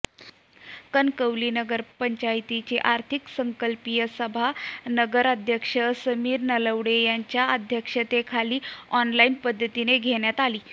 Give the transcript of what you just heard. कणकवली नगरपंचायतीची अर्थसंकल्पीय सभा नगराध्यक्ष समीर नलावडे यांच्या अध्यक्षतेखाली ऑनलाइन पद्धतीने घेण्यात आली